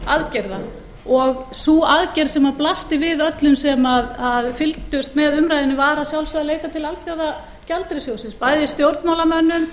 aðgerða og sú aðgerð sem blasti við öllum sem fylgdust með umræðunni var að sjálfsögðu að leita til alþjóðagjaldeyrissjóðsins bæði stjórnmálamönnum